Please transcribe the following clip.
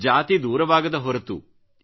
ಜಾತಿ ದೂರವಾಗದ ಹೊರತು